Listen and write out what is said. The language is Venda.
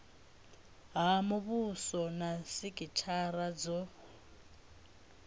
ha muvhuso na sikithara dzo